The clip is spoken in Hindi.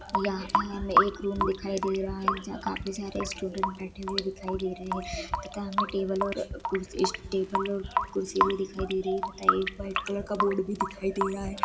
यहाँ ह-हमे एक रूम दिखाई दे रहा जहा काफी सारे स्टूडेंट बैठे हुए दिखाई दे रहे है तथा हमे टेबल ओर अ कुर्शी टेबल ओर कुर्सी भी दिखाई दे रही है तथा वक व्हाइट कलर का बोर्ड भी दिखाई दे रहा है।